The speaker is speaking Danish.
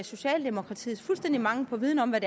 socialdemokratiets fuldstændige mangel på viden om hvad